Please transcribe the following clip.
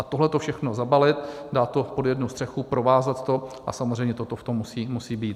A tohleto všechno zabalit, dát to pod jednu střechu, provázat to, a samozřejmě toto v tom musí být.